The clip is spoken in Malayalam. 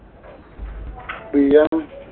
free ആണ്.